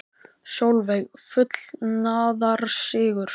Sólveig: Fullnaðarsigur?